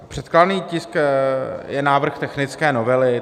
Předkládaný tisk je návrh technické novely.